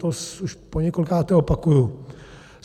To už poněkolikáté opakuji.